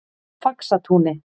Faxatúni